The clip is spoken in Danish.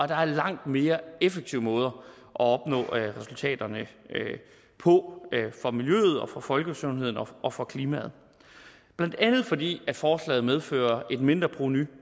der er langt mere effektive måder at opnå resultaterne på for miljøet og for folkesundheden og og for klimaet blandt andet fordi forslaget medfører et mindreprovenu